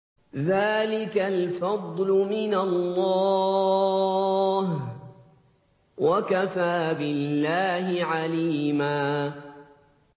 ذَٰلِكَ الْفَضْلُ مِنَ اللَّهِ ۚ وَكَفَىٰ بِاللَّهِ عَلِيمًا